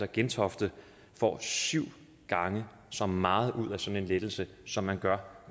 at gentofte får syv gange så meget ud af sådan en lettelse som man gør